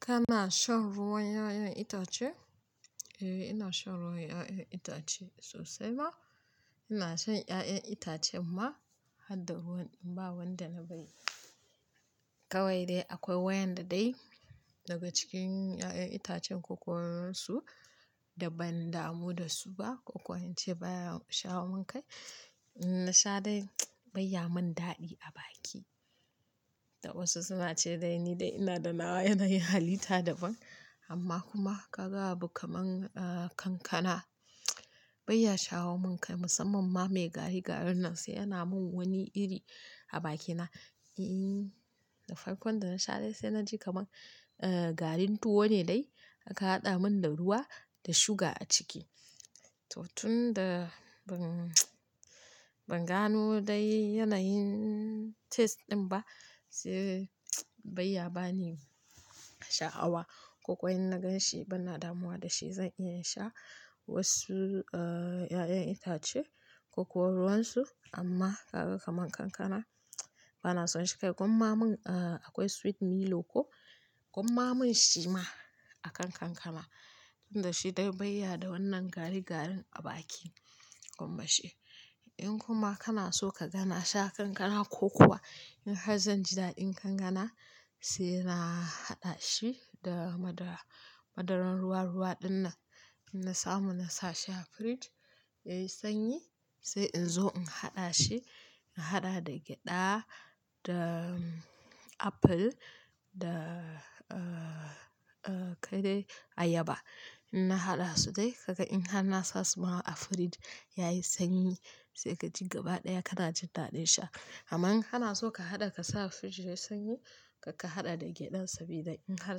Kana shan ruwan 'ya'yan itace? Eh ina shan ruwan 'ya'yan itace sosai ma. Ina shan 'ya'yan itacen ma harda ruwan, ba wanda na bai. Kawai dai akwai wayanda dai daga cikin 'ya'yan itacen ko kuwa ruwansu da ban damu da su ba, ko kuwa in ce baya shawo min kai. Na sha dai bai ya min daɗi a baki. Da wasu suna ce dai ni dai ina da nawa yanayin halita daban amma kuma ka ga abu kaman, haɗa kankana bai ya shawo min kai musamman ma mai gari garin nan sai yana min wani iri a bakina. E, da farkon da na sha dai sai na ji kaman, eh, garin tuwo ne dai aka haɗa min da ruwa da sugar a ciki. To tun da ban, ban gano dai yanayin taste ɗin ba sai bai ya bani sha'awa. Koko in na gan shi ban na damuwa da shi zan iya in sha wasu, ah, 'ya'yan itace ko kuwa ruwansu amma ka ga kamar kankana bana son shi kai gwamma mun, ah, akwai sweet Milo ko, gwamma mun shi ma a kan kankana tunda shi dai bai ya da wannan gari garin a baki gwamma shi in kuma kana so ka gana sha kankana ko kuwa in har zan ji daɗin kankana sai na haɗa shi da madara. Madaran ruwa ruwa ɗinnan in na samu na sa shi a fridge yayi sanyi sai in zo in haɗa shi. In haɗa da gyaɗa da apple da, ah, ah, kai dai ayaba. In na haɗa su dai kaga in har na sasu ma a fridge yayi sanyi sai ka ji gaba ɗaya kana jin daɗin sha. Amman in hana so ka haɗa ka sa a fridge yayi sanyi, kakka haɗa da gyaɗan sabida in har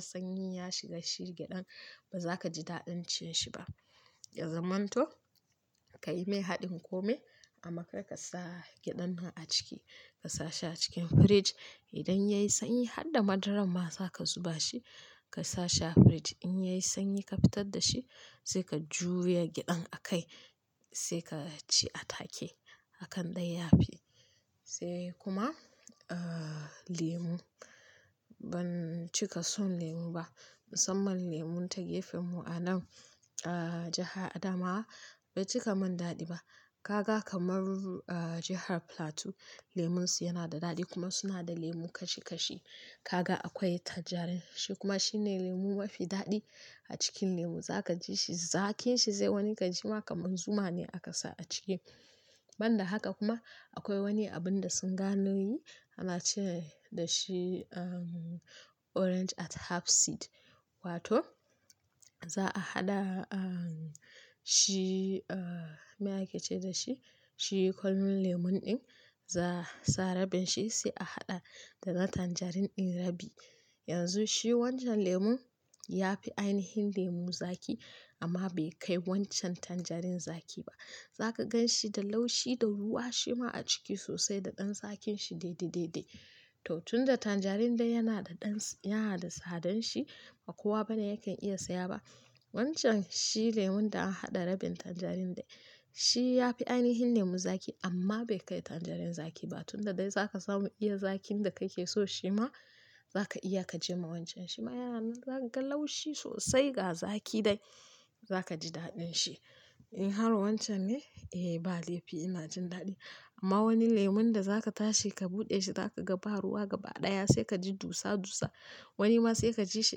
sanyi ya shiga shi gyaɗan bazaka ji daɗin cin shi ba. Ya zamanto kayi min haɗin kome amma kakka sa gyaɗan nan a ciki. Ka sa shi a cikin fridge. Idan yayi sanyi harda madaran ma zaka zuba shi ka sa shi a fridge. In yayi sanyi ka fitar da shi sai ka juya gyaɗan a kai sai ka ci a take a kan ɗaya ya fi. Sai kuma, ah, lemu. Ban cika son lemu ba musamman lemun ta gefen mu a nan, ah, jaha Adamawa bai cika min daɗi ba. Kaga kamar, ah, jahar Plateau lemun su yana da daɗi kuma suna da lemu kashi kashi. Kaga akwai tanjarin shi kuma shi ne lemu mafi daɗi a cikin lemu. Zaka ji shi zakin shi zai wani kaji shi ma kamar zuma ne aka sa a ciki. Ban da haka kuma akwai wani abun da sun gano yi ana ce dashi, ehm, orange at half seed wato za'a haɗa, ah, shi, ah, me ake ce da shi? Shi kwallon lemon ɗin za'a sa rabin shi sai a haɗa da na tanjarin ɗin rabi. Yanzu shi wancan lemon ya fi ainihin lemu zaki amma bai kai wancan tanjarin zaki ba. Zaka gan shi da laushi da ruwa shi ma a ciki sosai da ɗan zakin shi dai dai dai dai. To tun da tanjarin dai yana da ɗan-- yana da sadan shi ba kowa bane yake iya saya ba. Wancan shi lemon da an haɗa rabin tanjarin dai shi ya fi ainihin lemu zaki amma bai kai tanjarin zaki ba. Tun da dai za ka samu iya zakin da kake so shi ma za ka iya ka je ma wancan shi ma yana nan. Zaka ga laushi sosai ga zaki dai za ka ji daɗin shi. In har wancan ne? Eh ba laifi ina jin daɗi amma wani lemon da za ka tashi ka buɗe shi za ka ga ba ruwa gaba ɗaya sai ka ji dusa dusa. Wani ma sai ka ji shi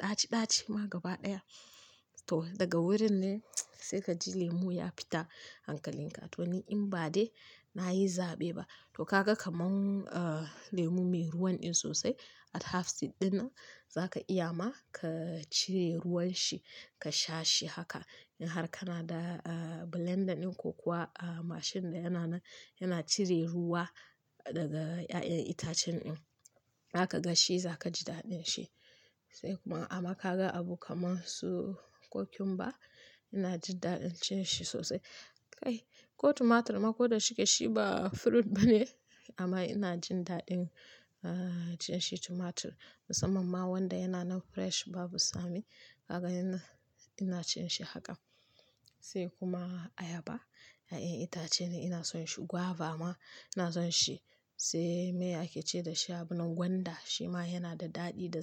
ɗaci ɗaci ma gaba ɗaya. To daga wurin ne sai ka ji lemu ya fita hankalin ka. To ni in ba dai na yi zaɓe ba. To ka ga kaman, ah, lemu mai ruwan ɗin sosai at half seed ɗinnan za ka iya ma ka cire ruwan shi ka sha shi haka. In har kana da, ah, blender ɗin ko kuwa, ah, mashin da yana nan-- yana cire ruwa daga 'ya'yan itacen ɗin zaka ga shi za ka ji daɗin shi. Sai kuma ama ka ga abu kamar su cucumber ina jin daɗin cin shi sosai. Kai ko tumatir ma ko da shike shi ba fruit bane amma ina jin daɗin, ah, cin shi tumatir musamman ma wanda yana nan fresh babu tsami. Kaga yana-- ina cin shi haka. Sai kuma ayaba, 'ya'yan itace ne ina son shi. Guava ma ina son shi. Sai me ake ce dashi abun nan gwanda shi ma yana da daɗi da za.